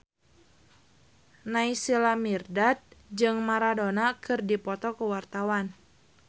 Naysila Mirdad jeung Maradona keur dipoto ku wartawan